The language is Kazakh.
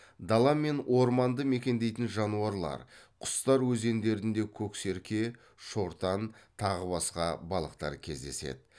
дала мен орманды мекендейтін жануарлар құстар өзендерінде көксерке шортан тағы басқа балықтар кездеседі